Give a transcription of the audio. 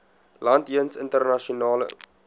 land jeens internasionale